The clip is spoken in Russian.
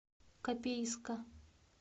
копейска